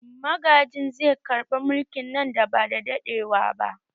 Magajin zai karɓi mulki nan ba da daɗewa ba